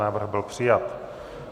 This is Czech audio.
Návrh byl přijat.